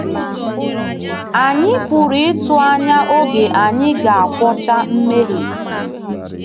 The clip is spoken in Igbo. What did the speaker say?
Anyị pụrụ ịtụ anya oge anyị ga-agwọcha mmehie.